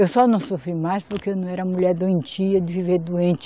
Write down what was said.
Eu só não sofri mais porque eu não era mulher doentia, de viver doente.